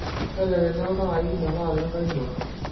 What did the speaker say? mbelekenya iltaai meetaa ilengae mua